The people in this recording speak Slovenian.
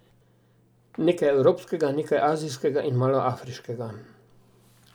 Nekaj evropskega, nekaj azijskega in malo afriškega.